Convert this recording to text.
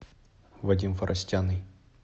вадим форостяный